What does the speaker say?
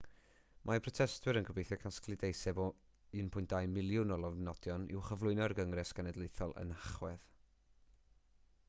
mae protestwyr yn gobeithio casglu deiseb o 1.2 miliwn o lofnodion i'w chyflwyno i'r gyngres genedlaethol yn nhachwedd